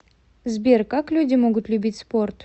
сбер как люди могут любить спорт